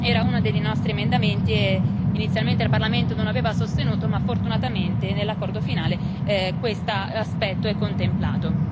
Era uno dei nostri emendamenti, che inizialmente il Parlamento non aveva sostenuto, ma fortunatamente nell'accordo finale questo aspetto è contemplato.